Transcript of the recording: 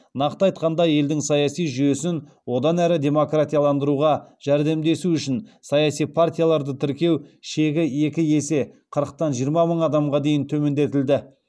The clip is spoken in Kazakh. нақты айтқанда елдің саяси жүйесін одан әрі демократияландыруға жәрдемдесу үшін саяси партияларды тіркеу шегі екі есе қырықтан жиырма мың адамға дейін төмендетілді